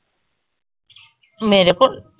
ਮੇਰੇ ਕੋਲ਼ ।